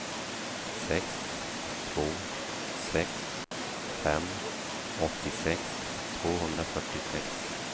sex två sex fem åttiosex tvåhundrafyrtiosex